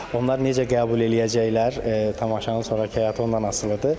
Onlar necə qəbul eləyəcəklər, tamaşanın sonrakı həyatı ondan asılıdır.